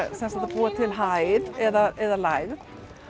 búa til hæð eða lægð